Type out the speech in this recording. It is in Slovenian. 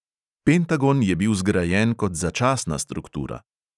Pentagon je bil zgrajen kot začasna struktura.